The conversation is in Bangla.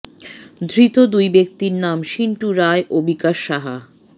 ধৃত দুই ব্যক্তির নাম সিন্টু রায় ও বিকাশ সাহা